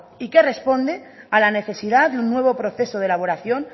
y que responde a la necesidad de un nuevo proceso de elaboración